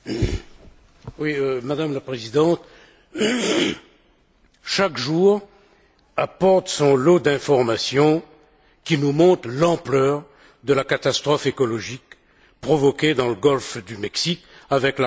Madame la Présidente, chaque jour apporte son lot d'informations, qui nous montrent l'ampleur de la catastrophe écologique provoquée dans le golfe du Mexique par la rupture de la plateforme